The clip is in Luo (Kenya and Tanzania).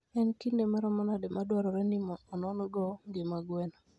En kinde maromo nade madwarore ni onon-go ngima gwen?